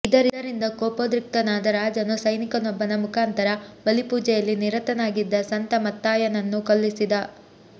ಇದರಿಂದ ಕೋಪೋದ್ರಿಕ್ತನಾದ ರಾಜನು ಸೈನಿಕನೊಬ್ಬನ ಮುಖಾಂತರ ಬಲಿಪೂಜೆಯಲ್ಲಿ ನಿರತನಾಗಿದ್ದ ಸಂತ ಮತ್ತಾಯನನ್ನು ಕೊಲ್ಲಿಸಿದ